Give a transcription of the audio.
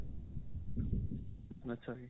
ਅੱਛਾ ਜੀ .